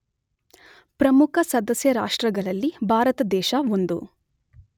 ಪ್ರಮುಖಸದಸ್ಯ ರಾಷ್ಟ್ರಗಳಲ್ಲಿ ಭಾರತದೇಶ ಒಂದು.